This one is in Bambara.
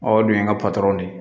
Ɔ o dun ye n ka de ye